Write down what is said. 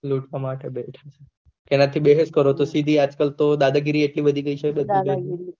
લૂટવા માટે બેઠા થે તેનાથી બેહેસ કરો તો સીધી આજ કલ તો દાદા ગીરી એટલી વધી ગયી છે